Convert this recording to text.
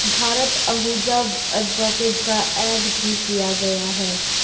Bharat Ahuja advocate का add भी किया गया है।